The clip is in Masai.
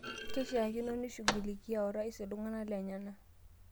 Keishakino nishughulikia orais ltung'ana lenyena